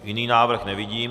Jiný návrh nevidím.